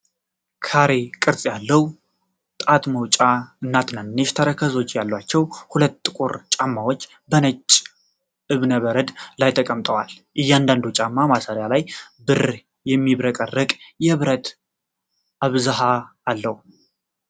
ካሬ ቅርጽ ያለው ጣት መውጫ እና ትናንሽ ተረከዞች ያላቸው ሁለት ጥቁር ጫማዎች በነጭ ዕብነ በረድ ላይ ተቀምጠዋል። የእያንዳንዱ ጫማ ማሰሪያ ላይ ብር የሚያብረቀርቅ የብረት አብዝሃት አለው።